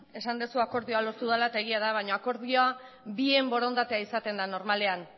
esan duzu akordioa lortu dela eta egia da baino akordioa bien borondatea izaten da normalean